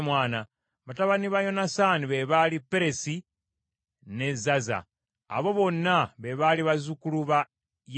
Batabani ba Yonasaani be baali Peresi ne Zaza. Abo bonna be baali bazzukulu ba Yerameeri.